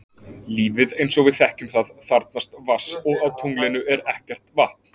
Lífið eins og við þekkjum það þarfnast vatns og á tunglinu er ekkert vatn.